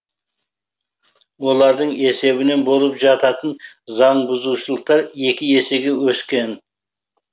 олардың есебінен болып жататын заңбұзушылықтар екі есеге өскен